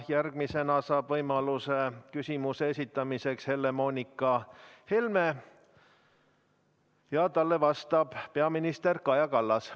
Järgmisena saab võimaluse küsimuse esitamiseks Helle-Moonika Helme ja talle vastab peaminister Kaja Kallas.